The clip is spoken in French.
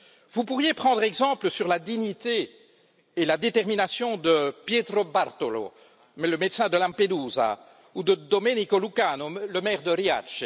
Vous pourriez prendre exemple sur la dignité et la détermination de Pietro Bartolo, le médecin de Lampedusa, ou de Domenico Lucano, le maire de Riace.